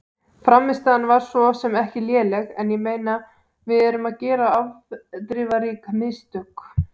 Frammistaðan var svo sem ekki léleg en ég meina við erum að gera afdrifarík mistök.